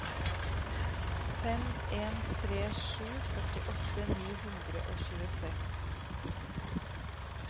fem en tre sju førtiåtte ni hundre og tjueseks